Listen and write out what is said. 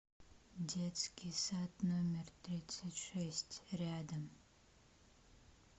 детский сад номер тридцать шесть рядом